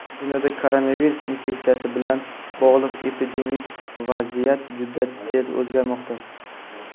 Dunyoda koronavirus infeksiyasi bilan bog‘liq epidemik vaziyat juda tez o‘zgarmoqda.